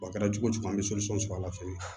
Wa a kɛra cogo o cogo an bɛ sɔrɔ ala fɛnɛ